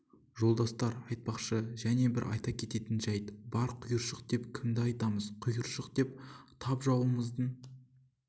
жолдастар айтпақшы және бір айта кететін жәйт бар құйыршық деп кімді айтамыз құйыршык деп тап жауымыздың